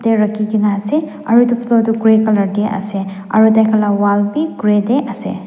rakhikaena ase aro edu floor toh grey colour tae ase aro tai khan la wall bigrey colour tae ase.